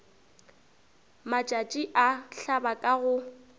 matšatši a hlaba ka go